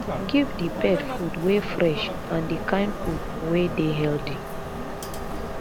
give di pet food wey fresh and di kind food wey dey healthy